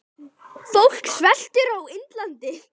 Fólk sveltur á Indlandi.